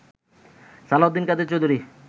Salauddin Quader Chowdhury